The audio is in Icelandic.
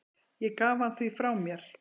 Ég gaf hann því frá mér.